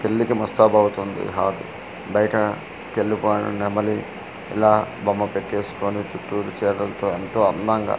పెళ్లి కీ ముస్తాబ్ అవుతుంది హాది బయట తెలుపా నెమలి ఇలా బొమ్మ పెటేసుకొని చుట్టూ చీరలతో ఎంతో అందంగా.